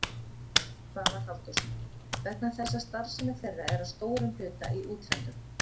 Svavar Halldórsson: Vegna þess að starfsemi þeirra er að stórum hluta í útlöndum?